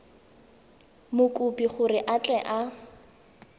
mokopi gore a tle a